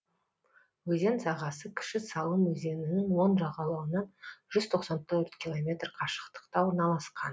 өзен сағасы кіші салым өзенінің оң жағалауынан жүз тоқсан төрт километр қашықтықта орналасқан